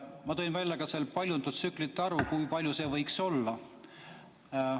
Ma tõin seal välja ka paljundustsüklite arvu, kui suur see võiks olla.